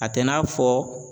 A tɛ n'a fɔ